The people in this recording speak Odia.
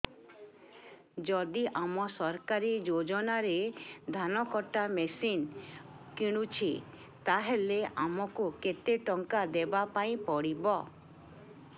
ଯଦି ଆମେ ସରକାରୀ ଯୋଜନାରେ ଧାନ କଟା ମେସିନ୍ କିଣୁଛେ ତାହାଲେ ଆମକୁ କେତେ ଟଙ୍କା ଦବାପାଇଁ ପଡିବ